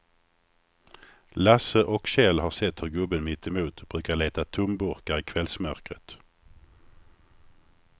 Lasse och Kjell har sett hur gubben mittemot brukar leta tomburkar i kvällsmörkret.